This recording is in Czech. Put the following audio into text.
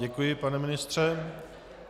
Děkuji, pane ministře.